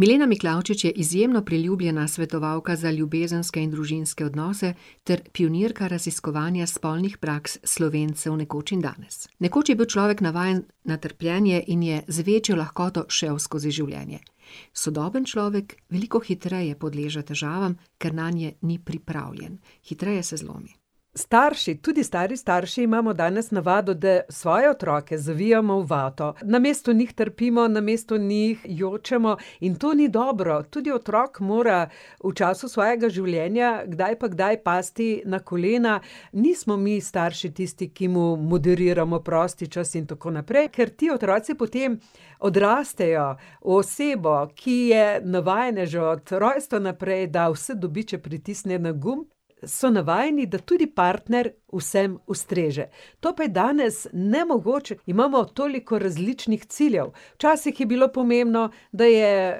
Milena Miklavčič je izjemno priljubljena svetovalka za ljubezenske in družinske odnose ter pionirka raziskovanja spolnih praks Slovencev nekoč in danes. Nekoč je bil človek navajen na trpljenje in je z večjo lahkoto šel skozi življenje. Sodoben človek veliko hitreje podleže težavam, ker nanje ni pripravljen. Hitreje se zlomi. Starši, tudi stari starši imamo danes navado, da svoje otroke zavijamo v vato. Namesto njih trpimo, namesto njih jočemo in to ni dobro, tudi otrok mora v času svojega življenja kdaj pa kdaj pasti na kolena. Nismo mi starši tisti, ki mu moderiramo prosti čas in tako naprej, ker ti otroci potem odrastejo v osebo, ki je navajena že od rojstva naprej, da vse dobi, če pritisne na gumb. So navajeni, da tudi partner v vsem ustreže. To pa je danes nemogoče, imamo toliko različnih ciljev. Včasih je bilo pomembno, da je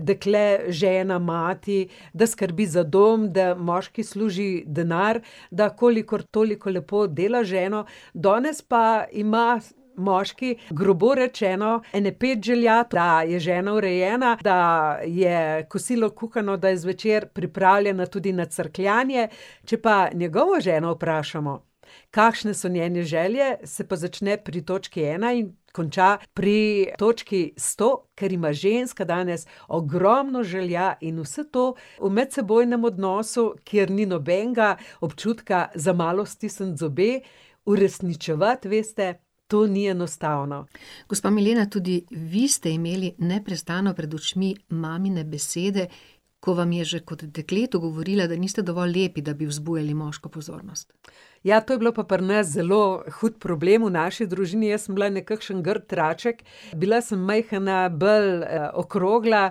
dekle žena, mati, da skrbi za dom, da moški služi denar, da kolikor toliko lepo dela z ženo, danes pa ima moški, grobo rečeno, ene pet želja, da je žena urejena, da je kosilo kuhano, da je zvečer pripravljena tudi na crkljanje, če pa njegovo ženo vprašamo, kakšne so njene želje, se pa začne pri točki ena in konča pri točki sto, ker ima ženska danes ogromno želja, in vse to v medsebojnem odnosu, kjer ni nobenega občutka za malo stisniti zobe, uresničevati, veste, to ni enostavno. Gospa Milena, tudi vi ste imeli neprestano pred očmi mamine besede, ko vam je že kot dekletu govorila, da niste dovolj lepi, da bi vzbujali moško pozornost. Ja, to je bil pa pri nas zelo hud problem v naši družini, jaz sem bila nekakšen grdi raček, bila sem majhna, bolj, okrogla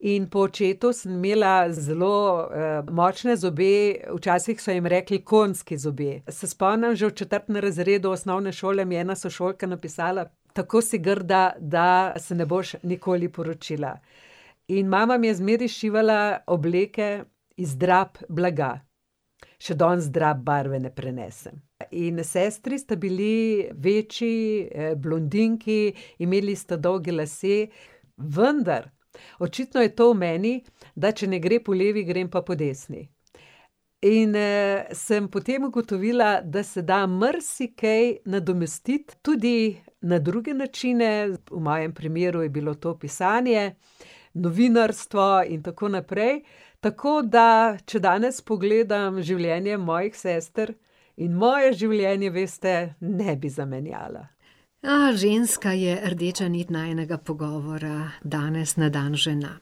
in po očetu sem imela zelo, močne zobe, včasih so jim rekli konjski zobje. Se spomnim, že v četrtem razredu osnovne šole me je ena sošolka napisala: "Tako si grda, da se ne boš nikoli poročila." In mama mi je zmeraj šivala obleke iz drap blaga. Še danes drap barve ne prenesem. In sestri sta bili večji, blondinki, imeli sta dolge lase, vendar očitno je to v meni, da če ne gre po levi, gre pa po desni. In, sem potem ugotovila, da se da marsikaj nadomestiti tudi na druge načine, v mojem primeru je bilo to pisanje, novinarstvo in tako naprej. Tako da, če danes pogledam življenje mojih sester in moje življenje, veste, ne bi zamenjala. ženska je rdeča niti najinega pogovora danes na dan žena.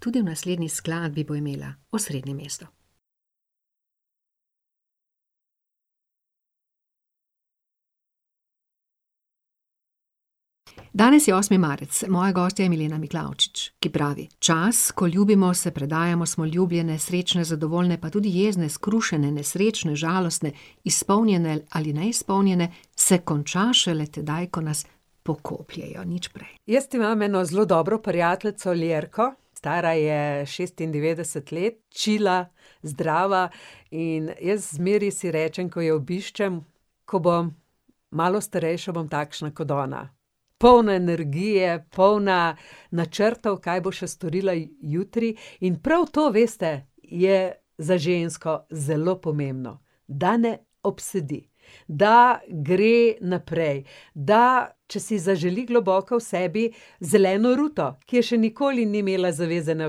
Tudi v naslednji skladbi bo imela osrednje mesto. Danes je osmi marec. Moja gostja je Milena Miklavčič, ki pravi: "Čas, ko ljubimo, se predajamo, smo ljubljene, srečne, zadovoljne, pa tudi jezne, skrušene, nesrečne, žalostne, izpolnjene ali neizpolnjene, se konča šele tedaj, ko nas pokopljejo, nič prej." Jaz imam eno zelo dobro prijateljico, Ljerko, stara je šestindevetdeset let, čila, zdrava. In jaz zmeraj si rečem, ko jo obiščem, ko bom malo starejša, bom takšna kot ona. Polna energije, polna načrtov, kaj bo še storila jutri, in prav to, veste, je za žensko zelo pomembno. Da ne obsedi. Da gre naprej, da, če si zaželi globoko v sebi zeleno ruto, ki je še nikoli ni imela zavezane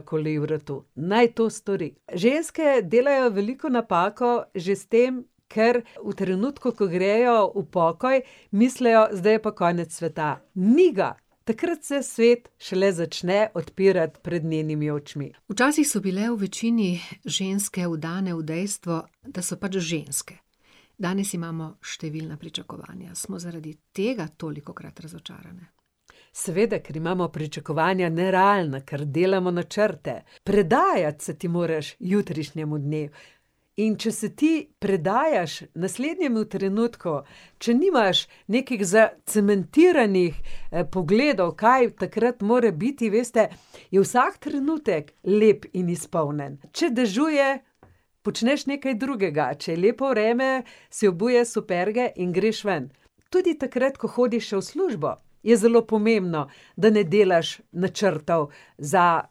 okoli vratu, naj to stori. Ženske delajo veliko napako že s tem, ker v trenutku, ko grejo v pokoj, mislijo, zdaj je pa konec sveta. Ni ga. Takrat se svet šele začne odpirati pred njenimi očmi. Včasih so bile v večini ženske vdane v dejstvo, da so pač ženske. Danes imamo številna pričakovanja. Smo zaradi tega tolikokrat razočarane? Seveda, ker imamo pričakovanja nerealna, ker delamo načrte. Predajati se ti moraš jutrišnjemu dnevu. In če se ti predajaš naslednjemu trenutku, če nimaš nekih zacementiranih, pogledov, kaj takrat mora biti, veste, je vsak trenutek lep in izpolnjen. Če dežuje, počneš nekaj drugega, če je lepo vreme, si obuješ superge in greš ven. Tudi takrat, ko hodiš še v službo, je zelo pomembno, da ne delaš načrtov za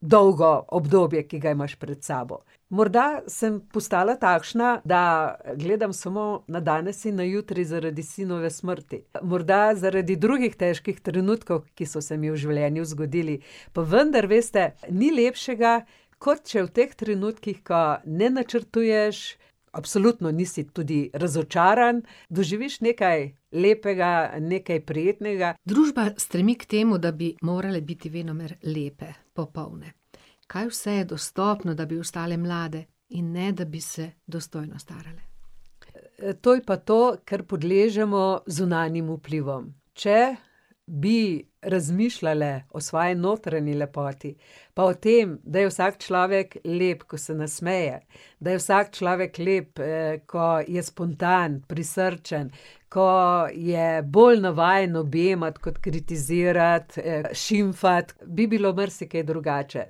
dolgo obdobje, ki ga imaš pred sabo. Morda sem postala takšna, da gledam samo na danes in na jutri zaradi sinove smrti. Morda zaradi drugih težkih trenutkov, ki so se mi v življenju zgodili. Pa vendar, veste, ni lepšega kot če v teh trenutkih, ko ne načrtuješ, absolutno nisi tudi razočaran, doživiš nekaj lepega, nekaj prijetnega. Družba stremi k temu, da bi morale biti venomer lepe. Popoldne. Kaj vse je dostopno, da bi ostale mlade in ne da bi se dostojno starale. to je pa to, ker podležemo zunanjim vplivom. Če bi razmišljale o svoji notranji lepoti, o tem, da je vsak človek lep, ko se nasmeje, da je vsak človek lep, ko je spontan, prisrčen, ko je bolj navajen objemati kot kritizirati, šimfati, bi bilo marsikaj drugače.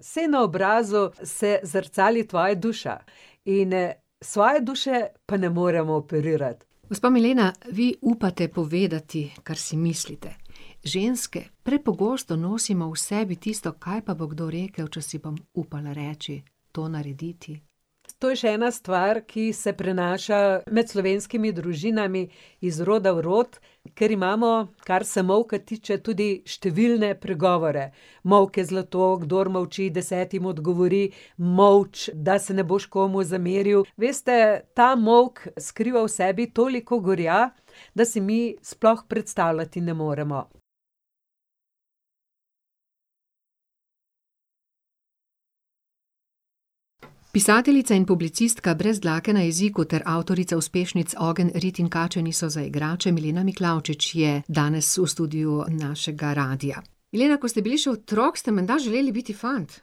Saj na obrazu se zrcali tvoja duša. In svoje duše pa ne moremo operirati. Gospa Milena, vi upate povedati, kar si mislite. Ženske prepogosto nosimo v sebi tisto, kaj pa bo kdo rekel, če si bom upala reči, to narediti? To je še ena stvar, ki se prenaša med slovenskimi družinami iz roda v rod, ker imamo, kar se molka tiče, tudi številne pregovore. Molk je zlato, kdor molči, desetim odgovori, molči, da se ne boš komu zameril. Veste, ta molk skriva v sebi toliko gorja, da si mi sploh ne moremo predstavljati. Pisateljica in publicistka brez dlake na jeziku ter avtorica uspešnic Ogenj, rit in kače niso za igrače Milena Miklavčič je danes v studiu našega radia. Milena, ko ste bili še otrok, ste menda želeli biti fant?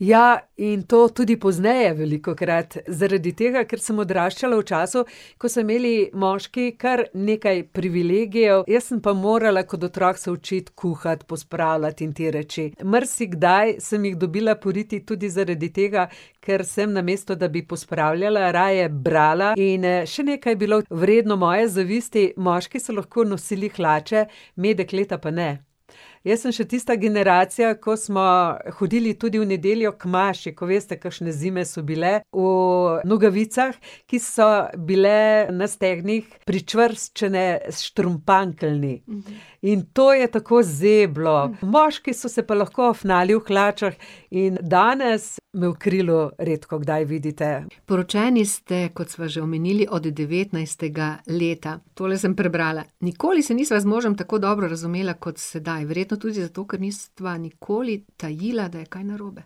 Ja, in to tudi pozneje velikokrat. Zaradi tega, ker sem odraščala v času, ko so imeli moški kar nekaj privilegijev, jaz sem pa morala kot otrok se učiti kuhati, pospravljati in te reči. Marsikdaj sem jih dobila po riti tudi zaradi tega, ker sem, namesto da bi pospravljala, raje brala, in, še nekaj je bilo vredno moje zavisti: moški so lahko nosili hlače, me, dekleta, pa ne. Jaz sem še tista generacija, ko smo hodili tudi v nedeljo k maši, ko veste, kakšne zime so bile, v nogavicah, ki so bile na stegnih pričvrščene s štrumpantli. In to je tako zeblo. Moški so se pa lahko afnali v hlačah in danes me v krilu redkokdaj vidite. Poročeni ste, kot sva že omenili, od devetnajstega leta. Tole sem prebrala: "Nikoli se nisva z možem tako dobro razumela kot sedaj, verjetno tudi zato, ker nisva nikoli tajila, da je kaj narobe."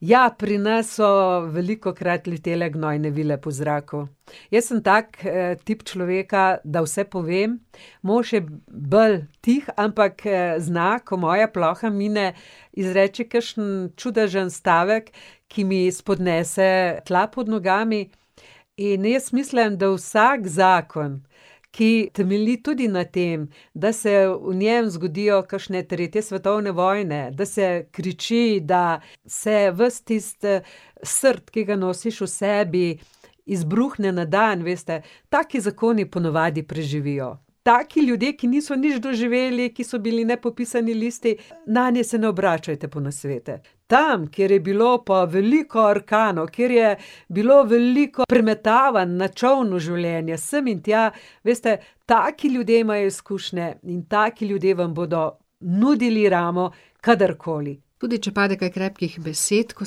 Ja, pri nas so velikokrat letele gnojne vile po zraku. Jaz sem tak, tip človeka, da vse povem, mož je bolj tih, ampak, zna, ko moja ploha mine, izreči kakšen čudežen stavek, ki mi spodnese tla pod nogami. In jaz mislim, da vsak zakon, ki temelji tudi na tem, da se v njem zgodijo kakšne tretje svetovne vojne, da se kriči, da se ves tisti, srd, ki ga nosiš v sebi, izbruhne na dan, veste. Taki zakoni ponavadi preživijo. Taki ljudje, ki niso nič doživeli, ki so bili nepopisani listi, nanje se ne obračajte po nasvete. Tam, kjer je bilo pa veliko orkanov, kjer je bilo veliko premetavanj na čolnu življenja, sem in tja, veste, taki ljudje imajo izkušnje in taki ljudje vam bodo nudili ramo kdorkoli. Tudi če pade kaj krepkih besed, ko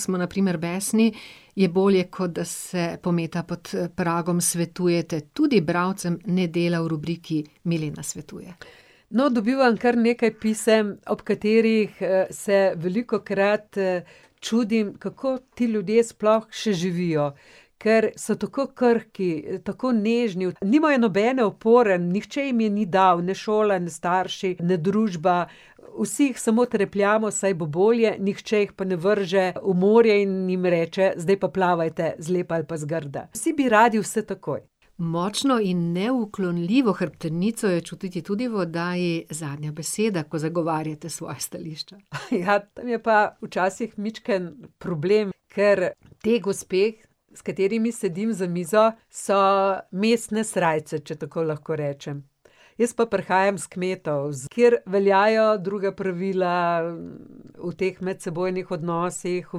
smo na primer besni, je bolje, kot da se pometa pod pragom, svetujete tudi bralcem Nedelja v rubriki Milena svetuje. No, dobivam kar nekaj pisem, ob katerih, se velikokrat, čudim, kako ti ljudje sploh še živijo. Ker so tako krhki, tako nežni, nimajo nobene opore, nihče jim je ni dal, ne šola ne starši ne družba. Vsi jih samo trepljamo, saj bo bolje, nihče jih pa ne vrže v morje in jim reče: "Zdaj pa plavajte, zlepa ali pa zgrda." Vsi bi radi vse takoj. Močno in neuklonljivo hrbtenico je čutiti tudi v oddaji Zadnja beseda, ko zagovarjate svoja stališča. ja, tam je pa včasih majčken problem, ker te gospe, s katerimi sedim za mizo, so mestne srajce, če tako lahko rečem. Jaz pa prihajam s kmetov, kjer veljajo druga pravila o teh medsebojnih odnosih, o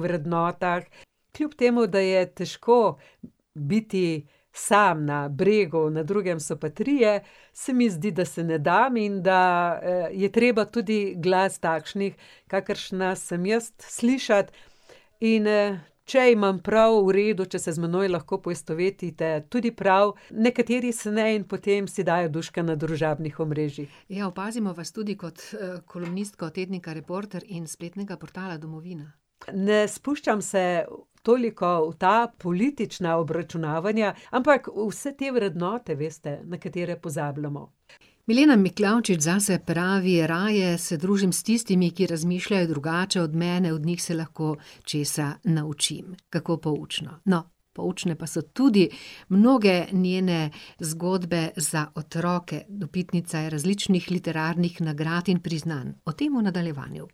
vrednotah. Kljub temu da je težko, biti sam na bregu, na drugem so pa trije, se mi zdi, da se ne dam in da, je treba tudi glas takšnih, kakršna sem jaz, slišati. In, če imam prav, v redu, če se z menoj lahko poistovetite, tudi prav, nekateri se ne in potem si dajo duška na družabnih omrežjih. Ja, opazimo vas tudi kot, kolumnistko tednika Reporter in spletnega portala Domovina. Ne spuščam se toliko v ta politična obračunavanja, ampak vse te vrednote, veste, na katere pozabljamo. Milena Miklavčič zase pravi: "Raje se družim s tistimi, ki razmišljajo drugače od mene, od njih se lahko česa naučim." Kako poučno. No, poučne pa so tudi mnoge njene zgodbe za otroke. Dobitnica je različnih literarnih nagrad in priznanj. O tem v nadaljevanju.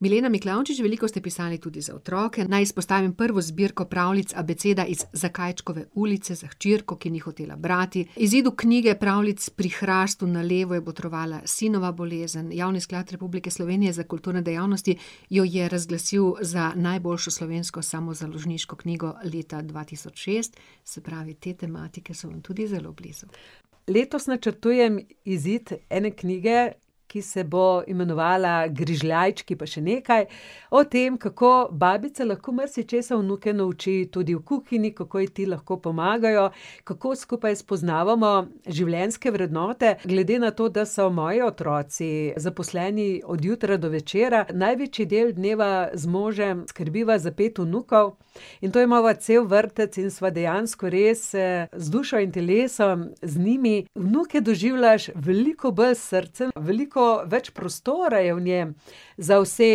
Milena Miklavčič, veliko ste pisali tudi za otroke, naj izpostavim prvo zbirko pravljic Abeceda iz Zakajčkove ulice, za hčerko, ki ni hotela brati. Izidu knjige pravljic Pri hrastu na levo je botrovala sinova bolezen, Javni sklad Republike Slovenije za kulturne dejavnosti jo je razglasil za najboljšo slovensko samozaložniško knjigo leta dva tisoč šest. Se pravi, te tematike so vam tudi zelo blizu. Letos načrtujem izid ene knjige, ki se bo imenovala Grižljajčki pa še nekaj, o tem, kako babica lahko marsičesa vnuke nauči, tudi v kuhinji, kako ji ti lahko pomagajo, kako skupaj spoznavamo življenjske vrednote. Glede na to, da so moji otroci zaposleni od jutra do večera, največji del dneva z možem skrbiva za pet vnukov in to imava cel vrtec in sva dejansko res, z dušo in telesom z njimi. Vnuke doživljaš veliko bolj s srcem, veliko več prostora je v njem za vse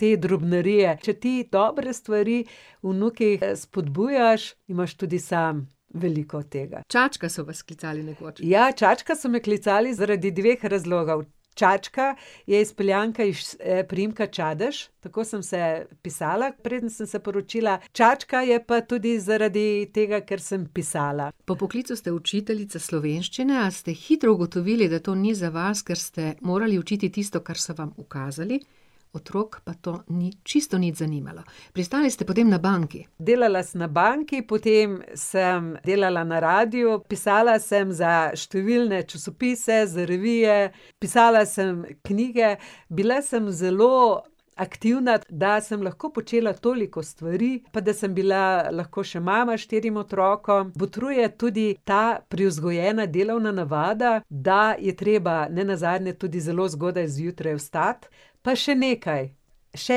te drobnarije. Če ti dobre stvari vnuki, spodbujaš, imaš tudi sam veliko tega. Čačka so vas klicali nekoč. Ja, Čačka so me klicali zaradi dveh razlogov. Čačka je izpeljanka iz priimka Čadež, tako sem se pisala, preden sem se poročila, Čačka je pa tudi zaradi tega, ker sem pisala. Po poklicu ste učiteljica slovenščine, a ste hitro ugotovili, da to ni za vas, ker ste morali učiti tisto, kar so vam ukazali. Otrok pa to ni čisto nič zanimalo. Pristali ste potem na banki. Delala sem na banki, potem sem delala na radiu, pisala sem za številne časopise, za revije, pisala sem knjige, bila sem zelo aktivna, da sem lahko počela toliko stvari, pa da sem bila lahko še mama štirim otrokom, botruje tudi ta privzgojena delovna navada, da je treba nenazadnje tudi zelo zgodaj zjutraj vstati. Pa še nekaj, še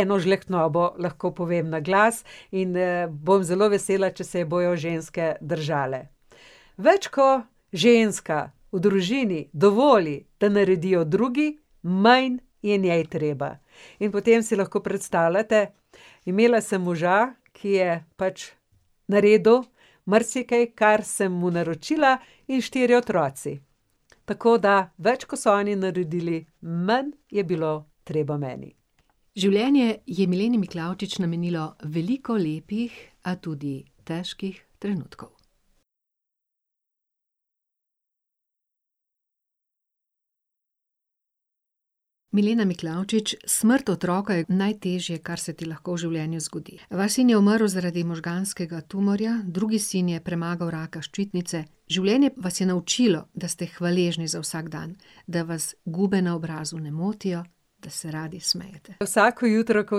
eno žlehtnobo lahko povem na glas, in, bom zelo vesela, če se je bojo ženske držale. Več kot ženska v družini dovoli, da naredijo drugi, manj je njej treba. In potem si lahko predstavljate, imela sem moža, ki je pač naredil marsikaj, kar sem mu naročila, in štirje otroci. Tako da več, ko so oni naredili, manj je bilo treba meni. Življenje je Mileni Miklavčič namenilo veliko lepih, a tudi težkih trenutkov. Milena Miklavčič, smrt otroka je najtežje, kar se ti lahko v življenju zgodi. Vaš sin je umrl zaradi možganskega tumorja, drugi sin je premagal raka ščitnice. Življenje vas je naučilo, da ste hvaležni za vsak dan, da vas gube na obrazu ne motijo, da se radi smejete. Vsako jutro, ko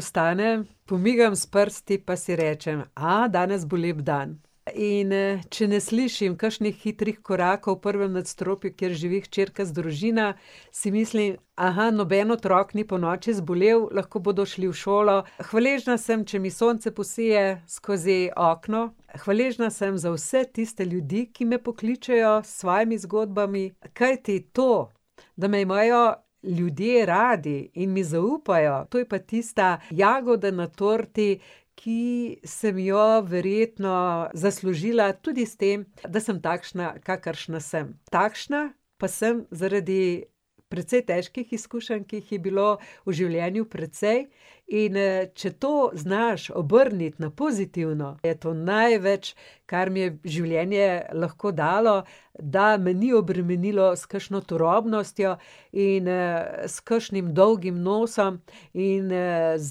vstanem, pomigam s prsti pa si rečem: danes bo lep dan." In, če ne slišim kakšnih hitrih korakov v prvem nadstropju, kjer živi hčerka z družina, si mislim: noben otrok ni ponoči zbolel, lahko bodo šli v šolo." Hvaležna sem, če mi sonce posije skozi okno, hvaležna sem za vse tiste ljudi, ki me pokličejo s svojimi zgodbami, kajti to, da me imajo ljudje radi in mi zaupajo, to je pa tista jagoda na torti, ki sem jo verjetno zaslužila tudi s tem, da sem takšna, kakršna sem. Takšna pa sem zaradi precej težkih izkušenj, ki jih je bilo v življenju precej. In, če to znaš obrniti na pozitivno, je to največ, kar mi je življenje lahko dalo, da me ni obremenilo s kakšno turobnostjo in, s kakšnim dolgim nosom in, z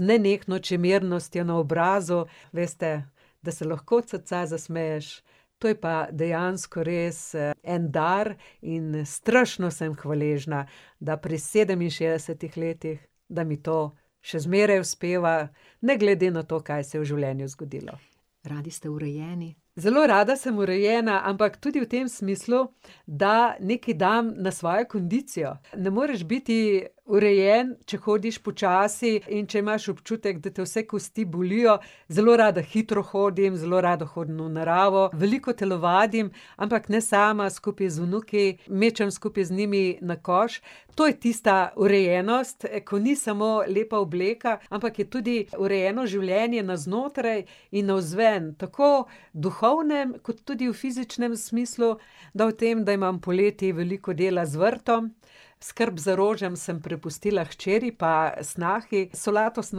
nenehno čemernostjo na obrazu. Veste, da se lahko od srca zasmeješ, to je pa dejansko res, en dar in, strašno sem hvaležna, da pri sedeminšestdesetih letih, da mi to še zmeraj uspeva, ne glede na to, kaj se je v življenju zgodilo. Radi ste urejeni. Zelo rada sem urejena, ampak tudi v tem smislu, da nekaj dam na svojo kondicijo. Ne moreš biti urejen, če hodiš počasi in če imaš občutek, da te vse kosti bolijo. Zelo rada hitro hodim, zelo rada hodim v naravo, veliko telovadim, ampak ne sama, skupaj z vnuki, mečem skupaj z njimi na koš. To je tista urejenost, ko ni samo lepa obleka, ampak je tudi urejeno življenje na znotraj in navzven, tako v duhovnem kot tudi v fizičnem smislu, da v tem, da imam poleti veliko dela z vrtom, skrb za rože sem prepustila hčeri pa snahi, solato sem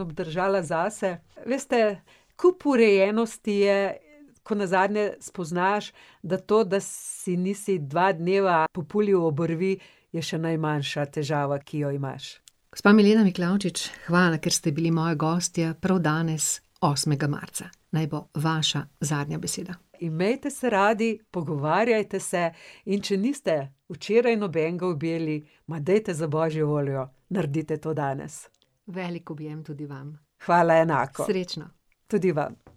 obdržala zase. Veste, kup urejenosti je, ko nazadnje spoznaš, da to, da si nisi dva dneva populil obrvi, je še najmanjša težava, ki jo imaš. Gospa Milena Miklavčič, hvala, ker ste bili moja gostja prav danes, osmega marca. Naj bo vaša zadnja beseda. Imejte se radi, pogovarjajte se, in če niste včeraj nobenega objeli, dajte, za božjo voljo, nardite to danes. Veliko objem tudi vam. Hvala enako. Srečno. Tudi vam.